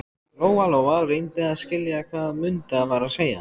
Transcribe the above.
Lóa-Lóa reyndi að skilja hvað Munda var að segja.